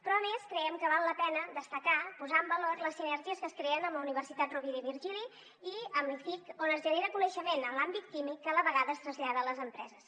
però a més creiem que val la pena destacar posar en valor les sinergies que es creen amb la universitat rovira i virgili i amb l’iciq on es genera coneixement en l’àmbit químic que a la vegada es trasllada a les empreses